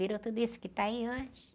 Virou tudo isso que está aí hoje.